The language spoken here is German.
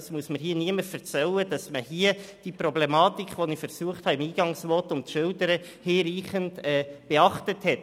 Es muss mir also niemand erzählen, dass man die Problematik, die ich im Eingangsvotum zu schildern versucht habe, hinreichend beachtet hat.